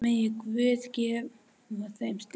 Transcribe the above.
Megi Guð gefa þeim styrk.